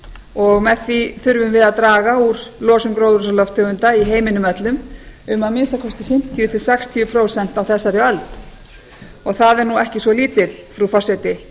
og með því þurfum við að draga úr losun gróðurhúsalofttegunda í heiminum öllum um að minnsta kosti fimmtíu til sextíu prósent á þessari öld og það er ekki svo lítið frú forseti